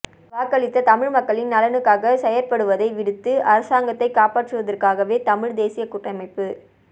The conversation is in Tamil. வாக்களித்த தமிழ் மக்களின் நலனுக்காக செயற்படுவதை விடுத்து அரசாங்கத்தை காப்பாற்றுவதற்காகவே தமிழ் தேசியக் கூட்டமைப்பு